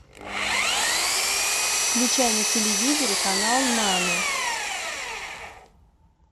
включай на телевизоре канал нано